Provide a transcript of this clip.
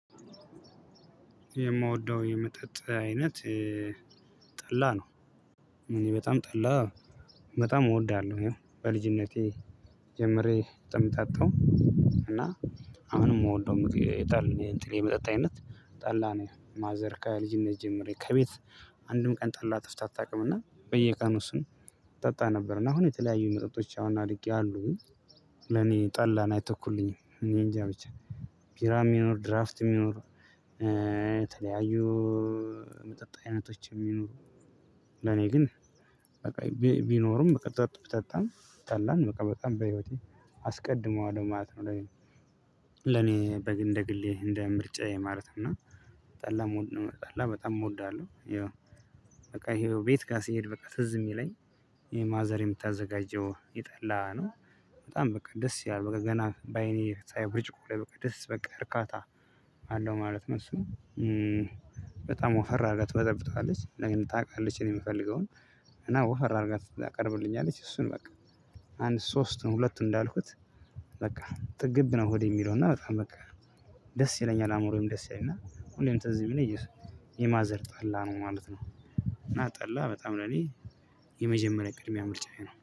የምወደው የመጠጥ አይነት ጠላ ነው። እኔ በጣም ጠላ በጣም እወዳለሁ። በልጅነቴ ጀምሬ የምጠጣው እና አሁንም የምወደው የመጠጥ አይነት ጠላ ነው። ማዘር ከልጅነት ጀምሬ ከቤት አንድም ቀን ጠላ ጠፍቶ አታውቅምና በየቀኑ ስንጠጣ ነበርና አሁን የተለያዩ መጠጦች አሁን አድርጌያለሁ። ለእኔ ጠላን አይተኩልኝም እኔንጃ ብቻ ቢራም ይኑር ድራፍት ይኑር የተለያዩ የመጠጥ አይነቶችም ይሁኑ ለእኔ ግን ቢኖሩም መጠጥ ብጠጣም ጠላን በቃ በጣም በህይወቴ አስቀድመዋለው ማለት ነው። ለእኔ ለኔ እንደ ግሌ እንደ ምርጫዬ ማለት ነው። እና ጠላ በጣም እወዳለሁ። ያው በቃ ይሄው ቤት ጋር ስሄድ በቃ ትዝ የሚለኝ ይሄ ማዘር የምታዘጋጀው የጠላ ነው። በጣም በቃ ደስ ይላል በቃ ገና በአይኔ ሳይ ብርጭቆ ላይ በቃ ደስ በቃ እርካታ አለው ማለት ነው። እሱ በጣም ወፈር አድርጋ ትበጠብጠዋለች ታውቃለች እኔ የምፈልገውን እና ወፈር አድርጋ ታቀርብልኛለች እሱን በቃ አንድ ሶስቱን ሁለቱን እንዳልኩት በቃ ጥግብ ነው። ሆዴ የሚለው እና በጣም በቃ ደስ ይለኛል አዕምሮዬም ደስ ይለኛል እና ሁሌም ትዝ የሚለኝ እሱ ነው። የማዘር ጠላ ነው ማለት ነው። እና ጠላ በጣም ለኔ የመጀመሪያ ቅድሚያ ምርጫዬ ነው።